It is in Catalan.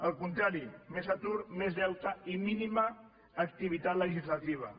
al contrari més atur més deute i mínima activitat legislativa